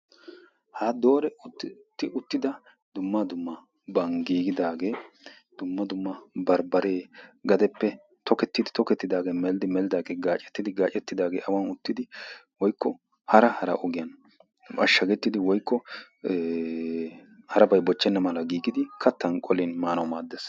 Ha dooretti uttida dumma dummaban giigidaagee barbaree dumma dumma tokettidi tokettidaagee melidi melidaagee gaacettidi gaacettidaagee awan uttidi woyikko hara hara ogiyan mashshagettidi woyikko harabay bochchennaadan giigidi kattan qolin maanawu maaddees.